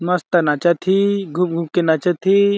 मस्त नाचा थी घूम-घूम के नाचा थी।